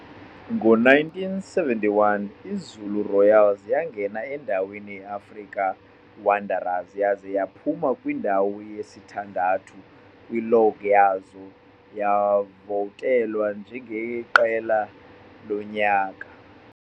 Ngo-1971 iZulu Royals yangena endaweni ye-African Wanderers yaze yaphuma kwindawo yesithandathu kwilog yaza yavotelwa njengeqela lonyaka.